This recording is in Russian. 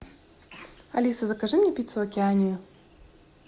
алиса закажи мне пиццу океанию